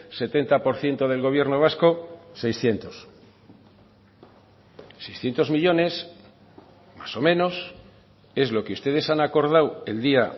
setenta por ciento del gobierno vasco seiscientos seiscientos millónes más o menos es lo que ustedes han acordado el día